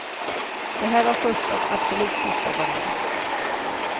Det här var första och absolut sista gången.